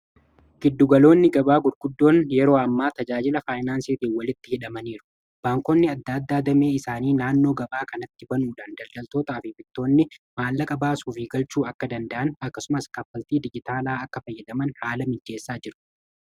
giddugaloonni gabaa gurguddoon yeroo ammaa tajaajila faayinaansiitiin walitti hidhamaniiru. baankonni adda addaa damee isaanii naannoo gabaa kanatti banuudhaan daldaltootaa f bittoonni maallaqa baasuu fi galchuu akka danda'an akkasumas kaaffaltii dijitaalaa akka fayyadaman haala mijeessaa jiru.